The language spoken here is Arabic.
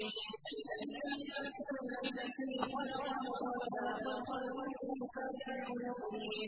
الَّذِي أَحْسَنَ كُلَّ شَيْءٍ خَلَقَهُ ۖ وَبَدَأَ خَلْقَ الْإِنسَانِ مِن طِينٍ